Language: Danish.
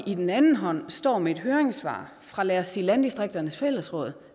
i den anden hånd står med et høringssvar fra lad os sige landdistrikternes fællesråd